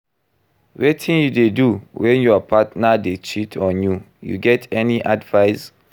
Wetin you dey do when your partner dey cheat on you, you get any advice?